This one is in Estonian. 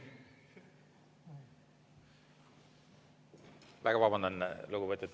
Väga vabandan!